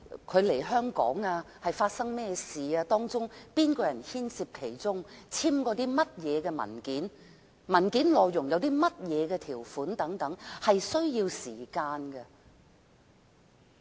外傭來港後發生了甚麼事情、有甚麼人牽涉其中、曾簽署甚麼文件、文件內容有甚麼條款等，是需要時間調查的。